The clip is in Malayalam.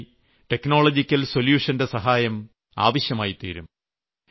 അതിനായി ടെക്നോളജിക്കൽ സൊല്യൂഷന്റെ സഹായം ആവശ്യമായിത്തീരും